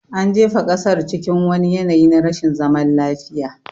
An jefa ƙasar cikin wani yanayi na rashin zaman lafiya